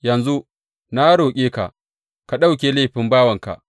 Yanzu, na roƙe ka, ka ɗauke laifin bawanka.